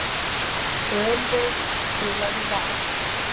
Ölveig, spilaðu lag.